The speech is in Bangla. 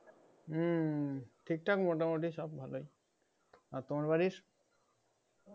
ঠিক থাকে মোটামোটি সব ভালোই আর তোমার বাড়ির